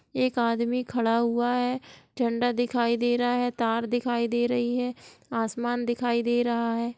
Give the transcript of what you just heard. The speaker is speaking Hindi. एक आदमी खड़ा हूआ है झंडा दिखाई दे रहा है तार दिखाई दे रही हैआसमान दिखाई दे रहा है।